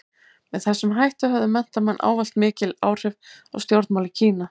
Með þessum hætti höfðu menntamenn ávallt mikil áhrif á stjórnmál í Kína.